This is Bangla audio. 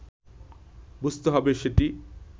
বুঝতে হবে সেটি